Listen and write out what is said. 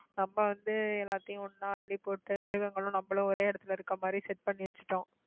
நம்ம வந்து எல்லாத்தையும் ஒண்ணா அள்ளிப் போட்டு மிருகங்களும் நம்மளும் ஒரே இடத்துல இருக்கற மாதிரி set பண்ணி வச்சுட்டோம்